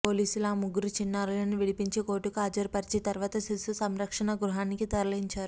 పోలీసులు ఆ ముగ్గురు చిన్నారులను విడిపించి కోర్టుకు హాజరుపరచి తర్వాత శిశు సంరక్షణ గృహానికి తరలించారు